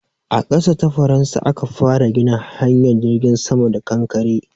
A ƙasa ta Faransa aka fara gina hanyar jirgin sama da kankare.